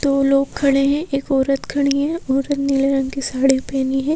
दो लोग खड़े हैं एक औरत खड़ी है औरत ने नीले रंग की साड़ी पहनी है।